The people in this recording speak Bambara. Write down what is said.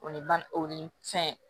O ye ba o ni fɛn